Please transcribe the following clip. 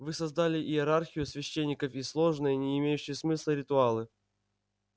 вы создали иерархию священников и сложные не имеющие смысла ритуалы